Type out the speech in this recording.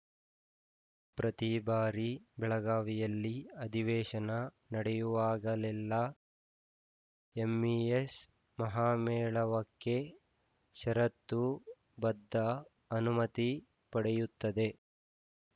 ಪ್ರತಿಬಾರಿ ಬೆಳಗಾವಿಯಲ್ಲಿ ಅಧಿವೇಶನ ನಡೆಯುವಾಗಲೆಲ್ಲ ಎಂಇಎಸ್‌ ಮಹಾಮೇಳಾವಕ್ಕೆ ಷರತ್ತು ಬದ್ಧ ಅನುಮತಿ ಪಡೆಯುತ್ತದೆ